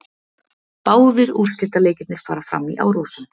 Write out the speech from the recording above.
Báðir úrslitaleikirnir fara fram í Árósum